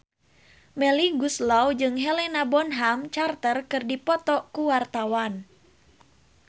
Melly Goeslaw jeung Helena Bonham Carter keur dipoto ku wartawan